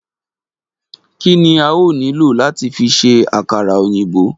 Kí ni a óò nílò láti fi ṣe àkàrà òyìnbó?